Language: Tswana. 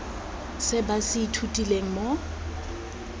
se ba se ithutileng mo